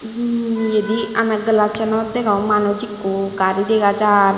uuh yedi ana glassanot degong manuj ekko gari dega jaar.